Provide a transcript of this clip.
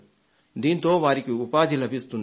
దీంతో వారికి ఉపాధి లభిస్తుంది